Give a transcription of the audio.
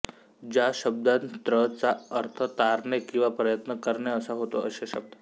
ज्या शब्दांत त्र चा अर्थ तारणे किंवा प्रयत्न करणे असा होतो असे शब्द